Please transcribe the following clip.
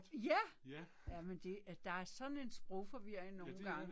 Ja! Jamen det øh der er sådan en sprogforvirring nogen gange.